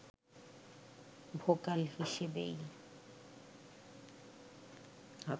vocal হিসেবেই